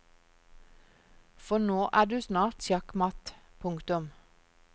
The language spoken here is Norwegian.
For nå er du snart sjakkmatt. punktum